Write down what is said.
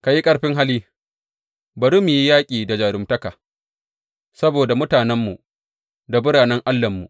Ka yi ƙarfin hali bari mu yi yaƙi da jaruntaka saboda mutanenmu da biranen Allahnmu.